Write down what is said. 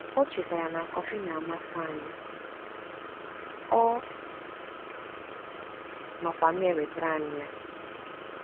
O chetara na kọfị na-amasị anyị, ọ nọkwa na-ewetara anyị ya.